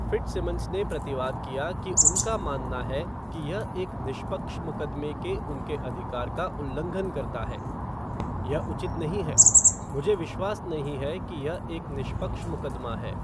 Fitzsimmons ने प्रतिवाद किया कि उनका मानना है कि यह एक निष्पक्ष मुक़दमे के उनके अधिकार का उल्लंघन करता है "यह उचित नहीं है। मुझे विश्वास नहीं है कि यह एक निष्पक्ष मुक़दमा है।"